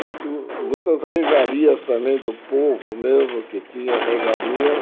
Muito muitas regalias também do povo mesmo que tinha regalias.